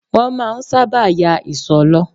Wọn máa ń sábà yà ìsò lo